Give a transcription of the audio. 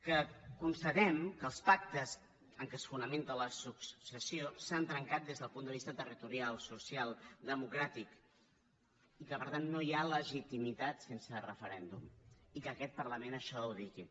que constatem que els pactes en què es fonamenta la successió s’han trencat des del punt de vista territorial social democràtic i que per tant no hi ha legitimitat sense referèndum i aquest parlament això ho digui